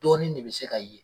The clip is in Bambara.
Dɔɔnin ne bi se ka ye